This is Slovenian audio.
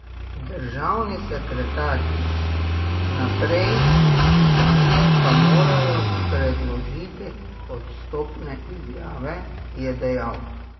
Državni sekretarji Naprej Italije pa morajo predložiti odstopne izjave, je dejal.